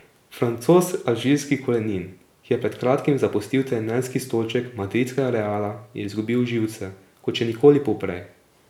Francoz alžirskih korenin, ki je pred kratkim zapustil trenerski stolček madridskega Reala, je izgubil živce kot še nikoli poprej.